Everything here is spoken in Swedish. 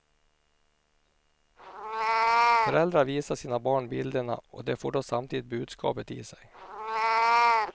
Föräldrar visar sina barn bilderna och de får då samtidigt budskapet i sig.